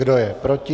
Kdo je proti?